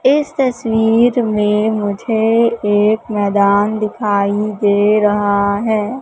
इस तस्वीर में मुझे एक मैदान दिखाई दे रहा है।